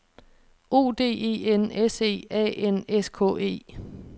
O D E N S E A N S K E